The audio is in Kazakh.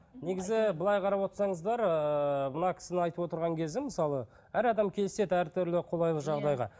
негізі былай қарап отырсаңыздар ыыы мына кісінің айтып отырған кезі мысалы әр адам келіседі әртүрлі қолайлы жағдайға